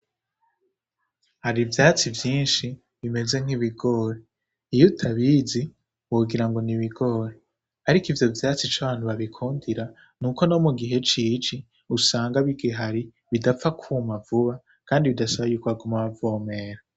Hari ivyatsi vyinshi bimeze nk'ibigori. Iyo utabizi wogira ngo ni ibigori, ariko ivyo vyatsi ico abantu babikundira ni uko no mu gihe c'ici bidapfa kwuma vuba kandi bidasaba ko baguma bavomera.